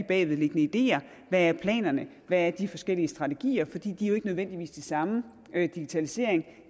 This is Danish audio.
bagvedliggende ideer hvad er planerne hvad er de forskellige strategier for de er jo ikke nødvendigvis de samme digitalisering